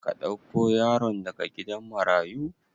Ka dauko yaron daga gidan marayu?